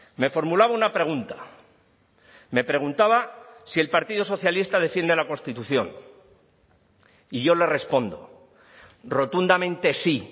me formulaba una pregunta me preguntaba si el partido socialista defiende la constitución y yo le respondo rotundamente sí